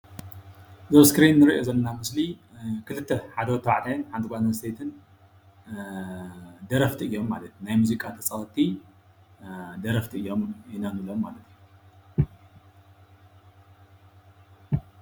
እዚ ኣብ እስክሪን እንሪኦ ዘለና ምስሊ ኽልተ ሓደ ወድ ተባዕታይን ሓንቲ ጓል አነስተይትን ደረፍቲ እዮሞ ማለት እዩ። ናይ ሙዚቃ ተጻወቲ ደረፍቲ እዮም ኢና ንብሎም ማለት እዩ።።